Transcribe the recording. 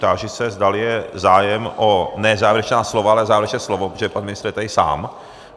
Táži se, zda je zájem o - ne závěrečná slova, ale závěrečné slovo, protože pan ministr je tady sám.